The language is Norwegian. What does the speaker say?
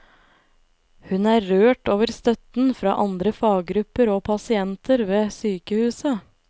Hun er rørt over støtten fra andre faggrupper og pasienter ved sykehuset.